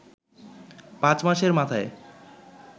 পাঁচ মাসের মাথায়